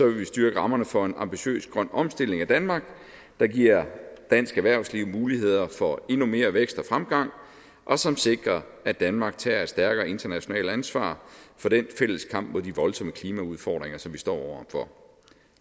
vi styrke rammerne for en ambitiøs grøn omstilling af danmark der giver dansk erhvervsliv muligheder for endnu mere vækst og fremgang og som sikrer at danmark tager et stærkere internationalt ansvar for den fælles kamp mod de voldsomme klimaudfordringer som vi står over for